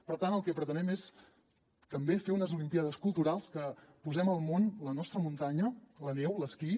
per tant el que pretenem és també fer unes olimpíades culturals que posem al món la nostra muntanya la neu l’esquí